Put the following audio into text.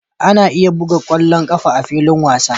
Ana iya buga ƙwallon ƙafa a filin wasa